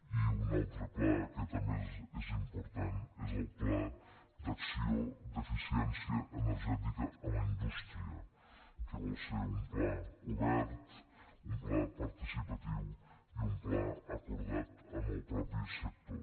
i un altre pla que també és important és el pla d’acció d’eficiència energètica en la indústria que vol ser un pla obert un pla participatiu i un pla acordat amb el mateix sector